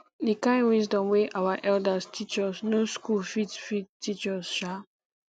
the kind wisdom wey our elders teach us no school fit fit teach us um